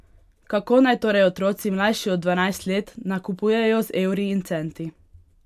Kako naj torej otroci, mlajši od dvanajst let, nakupujejo z evri in centi?